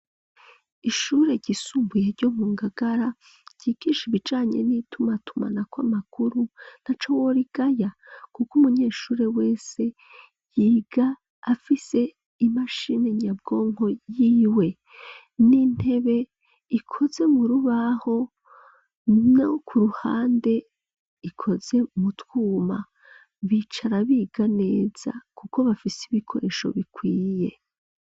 Ishure ryisumbuye ryo mu ngagara ryigisha ibijanye n'itumatuma na ko amakuru ntaco worigaya, kuko umunyeshure wese yiga afise imashini nyabwonko yiwe n'intebe ikoze mu rubaho no kuruhande ikoze mutwuma bicara biga neza, kuko bafise ibikoresho bikwiye.